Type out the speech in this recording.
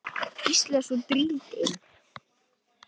Gísli er svo drýldinn.